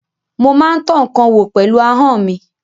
Mo máa ń tọ́ ǹkan wò pẹ̀lú ahọ́n mi.